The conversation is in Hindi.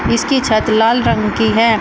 इसकी छत लाल रंग की है।